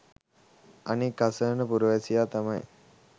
අනික්‌ අසරණ පුරවැසියා තමයි